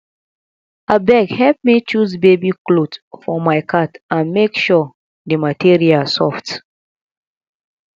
abeg help me choose baby cloth for my cat and make sure the material soft